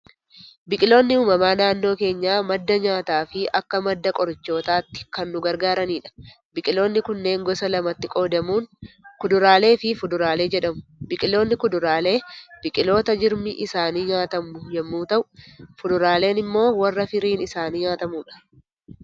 Biqiloonni uumamaa naannoo keenyaa madda nyaataa fi akka madda qorichootaatti kan nu gargaaranidha. Biqiloonni kunneen gosa lamatti qoodamuun, kuduraalee fi fuduraalee jedhamu. Biqiloonni kuduraalee, biqiloota jirmi isaanii nyaatamu yemmuu ta'u, fuduraaleen immoo warra firiin isaanii nyaatamudha.